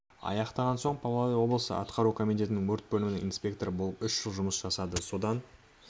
аяқтаған соң павлодар облысы атқару комитетінің өрт бөлімінің инспекторы болып үш жыл жұмыс жасады содан